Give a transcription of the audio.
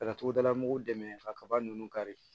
Ka togodala mɔgɔw dɛmɛ ka kaba ninnu kari